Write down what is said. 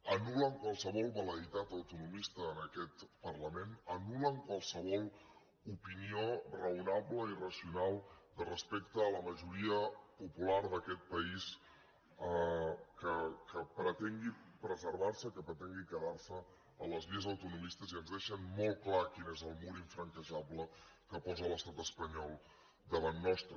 anul·len qualsevol vel·leïtat autonomista en aquest parlament anul·len qualsevol opinió raonable i racional de respecte a la majoria popular d’a quest país que pretengui preservar se que pretengui quedar se a les vies autonomistes i ens deixen molt clar quin és el mur infranquejable que posa l’estat espanyol davant nostre